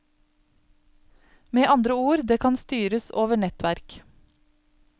Med andre ord, det kan styres over nettverk.